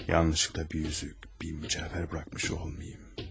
Yanlışlıqla bir üzük, bir mücəvhər buraxmış olmayım.